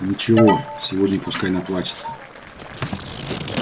ничего сегодня пускай наплачется